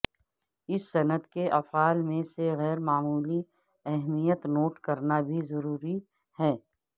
اس صنعت کے افعال میں سے غیر معمولی اہمیت نوٹ کرنا بھی ضروری ہے